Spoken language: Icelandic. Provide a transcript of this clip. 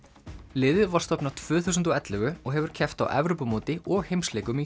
liðið var stofnað tvö þúsund og ellefu og hefur keppt á Evrópumóti og heimsleikum í